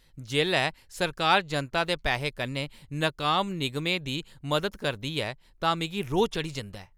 जेल्लै सरकार जनता दे पैहें कन्नै नकाम निगमें दी मदद करदी ऐ तां मिगी रोह् चढ़ी जंदा ऐ।